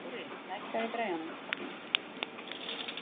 Dóri, lækkaðu í græjunum.